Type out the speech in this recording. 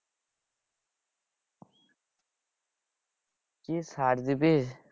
কি সার দিবি?